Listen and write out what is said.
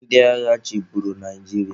Ndị agha chịburu Naijiria.